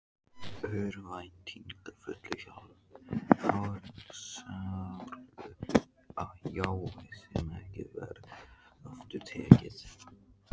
Örvæntingarfullu, helsáru jái sem ekki varð aftur tekið.